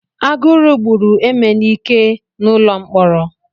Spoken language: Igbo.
Agụrụ gburu emelike n'ụlọ mkpọrọ.